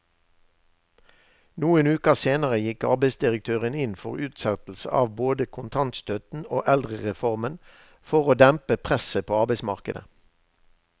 Noen uker senere gikk arbeidsdirektøren inn for utsettelse av både kontantstøtten og eldrereformen for å dempe presset på arbeidsmarkedet.